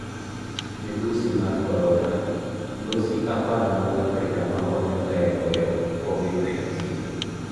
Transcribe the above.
Midhusi mar Korona: Losi apar mag Afrika makonyo ga e goyo Covid-19